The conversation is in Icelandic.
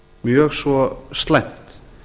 mjög svo slæmt